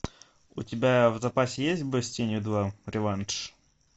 у тебя в запасе есть бой с тенью два реванш